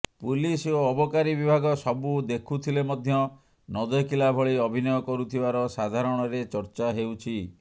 police ଓ ଅବକାରୀ ବିଭାଗ ସବୁ ଦେଖୁଥିଲେ ମଧ୍ୟ ନଦେଖିଲା ଭଳି ଅଭିନୟ କରୁଥିବାର ସାଧାରଣରେ ଚର୍ଚ୍ଚା ହେଉଛି